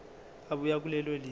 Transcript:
ebuya kulelo lizwe